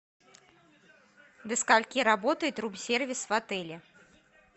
до скольки работает рум сервис в отеле